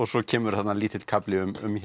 svo kemur þarna lítill kafli